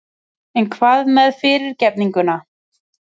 En hvað með fyrirgefninguna?